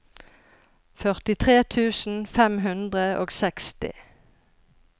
førtitre tusen fem hundre og seksti